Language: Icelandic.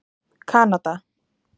Kanada